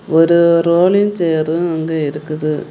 ஒரு ரோலிங் சாரு ஒன்னு இருக்குது.